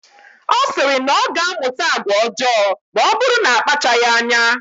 Ọ sịrị na ọ ga-amụta agwa ọjọọ maọbụrụ na akpachaghi anya.